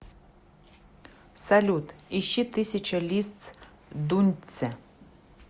салют ищи тысяча лиц дуньцзя